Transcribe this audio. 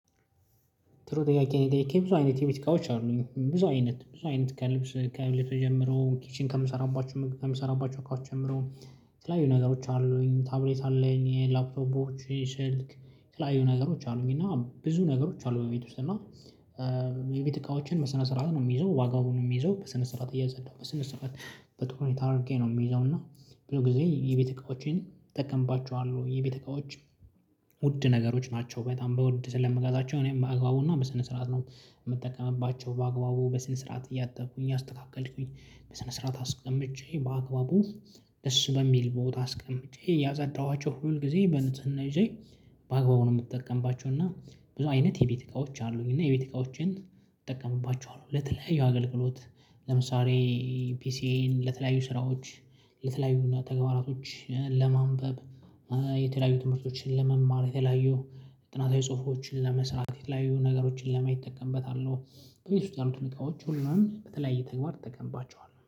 ጥሩ ጥያቄ ነው። የጠየቅህኝ ብዙ አይነት የቤት እቃዎች አሉኝ ብዙ አይነት ብዙ አይነት ከልብስ ከልብስ ጀምሮ ኪችን ከምሰራባቸው ከምሰራባቸው እቃውች ጀምሮ የተለያዩ ነገሮች አሉኝ ታብሌት አለኝ የላፕቶፖች ስልክ የተለያዩ ነገሮች አሉኝ። እና ብዙ ነገሮች አሉ በቤት ውስጥ እና። የቤት እቃዎችን በስነ ስርዓት ነው የምይዘው ዋጋውን ነው የምይዘው በስነ ስርዓት እያጸዳሁ በስነ ስርዓት በጥሩ ሁኔታ አድርጌ ነው የምይዘው እና ብዙ ጊዜ የቤት እቃዎቼን እተጠቀምባቸዋለሁ የቤት እቃዎች። ውድ ነገሮች ናቸው በጣም በውድ ስለምገዛቸው እኔም በአግባቡና በስነ ስርዓት ነው የምጠቀምባቸው በአግባቡ በስነ ስርዓት እያጠብኩኝ አስተካከልኩኝ በስነ ስርዓት አስቀምጨ በአግባቡ ደስ በሚል ቦታ አስቀምጨ ያጸዳኋቸው ሁል ጊዜ በንጽህና ይዤ። ማግባቡን የምጠቀምባቸው እና ብዙ አይነት የቤት እቃዎች አሉኝ እና የቤት እቃዎችን እጠቀምባቸዋለሁ ለተለያዩ አገልግሎት። ለምሳሌ ፒሲኤን ለተለያዩ ስራዎች ልትላዩና ተግባራቶች ለማንበብ የተለያዩ ትምህርቶችን ለመማር የተለያዩ ጥናታዊ ጽሁፎችን ለመስራት የተለያዩ ነገሮችን ለማየት እጠቀምበታለሁ። በቤት ውስጥ ያሉት እቃዎች ሁሉንም በተለያየ ተግባር እጠቀምባቸዋለሁ